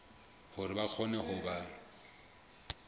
hore ba kgone ho ba